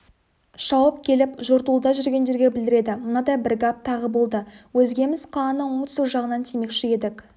шауып келіп жортуылда жүргендерге білдіреді мынадай бір гәп тағы болды өзгеміз қаланың оңтүстік жағынан тимекші едік